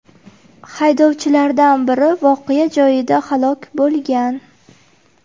Haydovchilardan biri voqea joyida halok bo‘lgan.